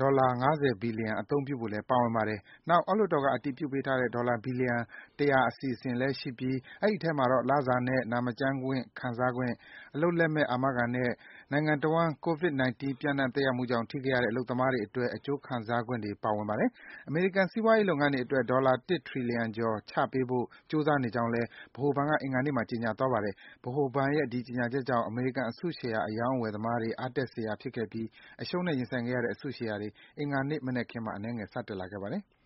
ဒေါ်လာ ၅၀ ဘီလျံ အသုံးပြုဖို့လည်း ပါဝင်ပါတယ်။ နောက် အောက်လွှတ်တော်က အတည်ပြုပေးထားတဲ့ ဒေါ်လာ ဘီလျံ ၁၀၀ အစီအစဉ်လည်း ရှိပြီး ဒီထဲမှာတော့ လစာနဲ့ နာမကျန်းခွင့် ခံစားခွင့်၊ အလုပ်လက်မဲ့ အာမခံနဲ့ နိုင်ငံတဝန်း COVID -19 ပျံ့နှံ့ သက်ရောက်မှုကြောင့် ထိခိုက်ရတဲ့ အလုပ်သမားတွေ အတွက် အကျိုးခံစားခွင့် ပါဝင်ပါတယ်။ အမေရိကန် စီးပွားရေး လုပ်ငန်းတွေ အတွက် ဒေါ်လာ ၁ ထရီလီယံကျော် ချပေးဖို့ ကြိုးစားနေကြောင်းလည်း ဗဟိုဘဏ်က အင်္ဂါနေ့မှာ ကြေညာသွားပါတယ်။ ဗဟိုဘဏ်ရဲ့ ဒီကြေညာချက်ကြောင့် အမေရိကန် အစုရှယ်ယာ အရောင်းအဝယ်သမားတွေကြား အားတက် စရာ ဖြစ်ခဲ့ပြီး အရှုံးနဲ့ ရင်ဆိုင်ခဲ့ရတဲ့ အစုရှယ်ယာတွေ အင်္ဂါနေ့ မနက်ခင်းမှာ အနည်းငယ် စတက်လာပါတယ်။